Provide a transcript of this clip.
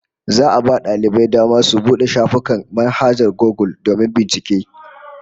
Za'a a ba daliban dama su bude shafukan manhajar Gugul domin bincike